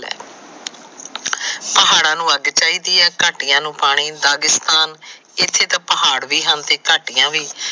ਪਹਾੜਾਂ ਨੂੰ ਅੱਗ ਚਾਹੀਦੀ ਹੈ। ਕਾਟਿਆ ਨੂੰ ਪਾਣੀ ਦਾਗਿਸਤਾਨ ਇਥੇ ਤਾ ਪਹਾੜ ਵੀ ਹਨ ਤੇ ਕਾਟਿਆ ਵੀ।